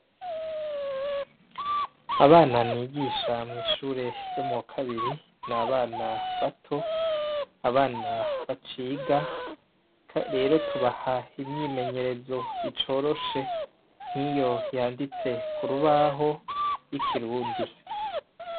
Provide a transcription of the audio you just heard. Abana nigisha mw'ishure ryo mu wa kabiri ni abana bato, abana baciga. Rero tubaha imyimeyerezo icoroshe, nkiyo yanditse ku rubaho y'ikirundi.